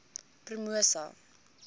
promosa